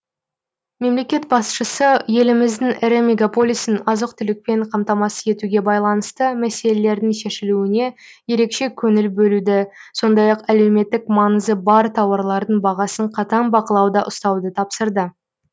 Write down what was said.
мемлекет басшысы еліміздің ірі мегаполисін азық түлікпен қамтамасыз етуге байланысты мәселелердің шешілуіне ерекше көңіл бөлуді сондай ақ әлеуметтік маңызы бар тауарлардың бағасын қатаң бақылауда ұстауды тапсырды